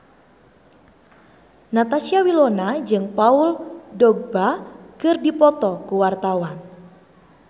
Natasha Wilona jeung Paul Dogba keur dipoto ku wartawan